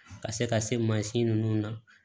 Ka se ka se mansin ninnu na